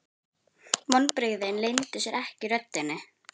Vonbrigðin leyndu sér ekki í röddinni.